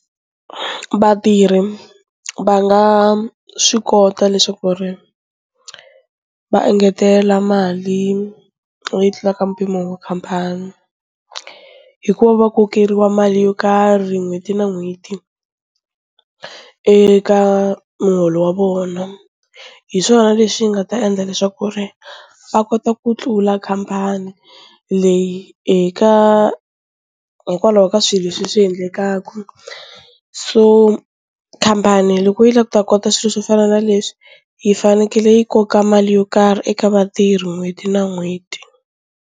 Vatirhi va nga swi kota leswaku ri va engetela mali leyi tlulaka mpimo wa khampani hi ku va va kokeriwa mali yo karhi n'hweti na n'hweti eka muholo wa vona, hi swona leswi nga ta endla leswaku ri va kota ku tlula khampani leyi eka hi kwalaho ka swilo leswi leswi endlekaku, so khampani loko yi lava ku ta kota swilo swo fana na leswi yi fanekele yi koka mali yo karhi eka vatirhi n'hweti na n'hweti.